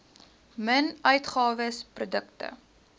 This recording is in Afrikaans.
min uitgawes produkte